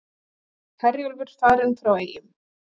Herjólfur farinn frá Eyjum